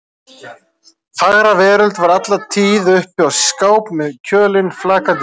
Fagra veröld var alla tíð uppi í skáp með kjölinn flakandi frá